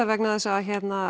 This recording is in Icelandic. vegna þess að